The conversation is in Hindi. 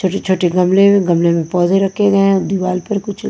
छोटे-छोटे गमले गमले में पौधे रखे गए हैं दीवार पर कुछ--